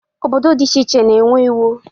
Obodo dị iche iche na-enwe iwu.